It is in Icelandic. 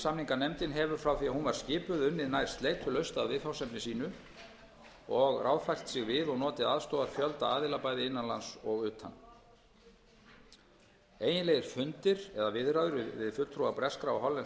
samninganefndin hefur frá því að hún var skipuð unnið nær sleitulaust að viðfangsefni sínu og og ráðfært sig við og notið aðstoðar fjölda aðila bæði innan lands og utan eiginlegir fundir eða viðræður við fulltrúa breskra og hollenskra